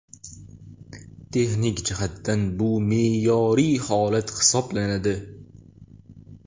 Texnik jihatdan bu me’yoriy holat hisoblanadi.